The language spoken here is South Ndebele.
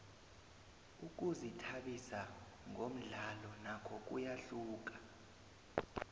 ukuzithabisa ngomdlalo nakho kuyahluka